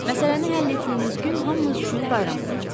Məsələni həll etdiyiniz gün hamımız üçün bayram olacaq.